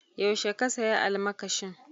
Yaushe ka saya almakashin?